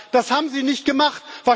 Das haben Sie nicht gemacht.